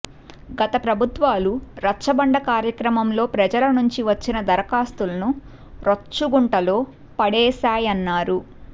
గత ప్రభుత్వాలు రచ్చబండ కార్యక్రమంలో ప్రజల నుంచి వచ్చిన దరఖాస్తులను రొచ్చుగుంటలో పడేశాయన్నారు